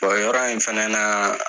Bon yɔrɔ in fana na